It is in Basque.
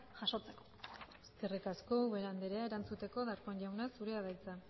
jasotzeko eskerrik asko ubera andrea erantzuteko darpón jauna zurea da hitza